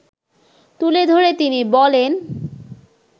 তুলে ধরে তিনি বলেন